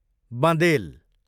बँदेल